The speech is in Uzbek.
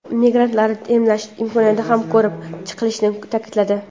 migrantlarni emlash imkoniyati ham ko‘rib chiqilishini ta’kidladi.